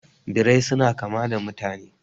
Birrai suna kama da mutane